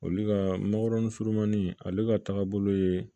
Olu ka magɔrɔni surumani ale ka taagabolo ye